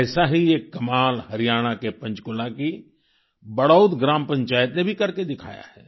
ऐसा ही एक कमाल हरियाणा के पंचकुला की बड़ौत ग्राम पंचायत ने भी करके दिखाया है